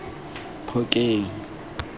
phokeng